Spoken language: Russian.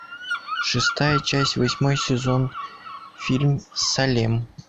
шестая часть восьмой сезон фильм салем